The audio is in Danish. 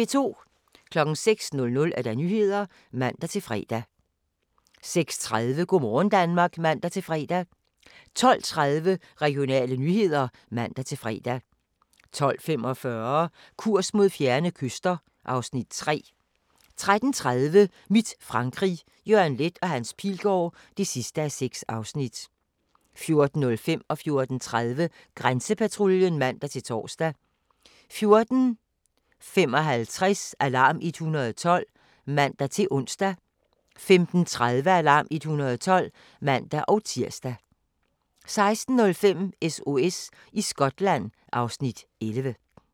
06:00: Nyhederne (man-fre) 06:30: Go' morgen Danmark (man-fre) 12:30: Regionale nyheder (man-fre) 12:45: Kurs mod fjerne kyster (Afs. 3) 13:30: Mit Frankrig – Jørgen Leth & Hans Pilgaard (6:6) 14:05: Grænsepatruljen (man-tor) 14:30: Grænsepatruljen (man-tor) 14:55: Alarm 112 (man-ons) 15:30: Alarm 112 (man-tir) 16:05: SOS i Skotland (Afs. 11)